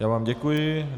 Já vám děkuji.